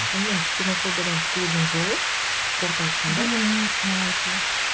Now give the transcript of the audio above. сонымен ксенофобиядан құтылудың жолы қорыта айтқанда білім молайту